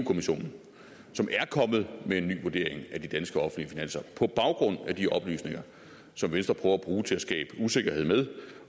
kommissionen som er kommet med en ny vurdering af de danske offentlige finanser på baggrund af de oplysninger som venstre prøver at bruge til at skabe usikkerhed med